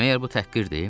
Məyər bu təhqirdir?